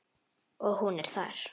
Og hún er þar.